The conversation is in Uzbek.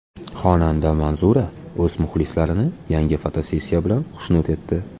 Xonanda Manzura o‘z muxlislarini yangi fotosessiyasi bilan xushnud etdi.